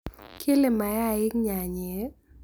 Keele mayaik nyaanyeek